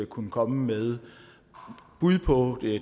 kunne komme med bud på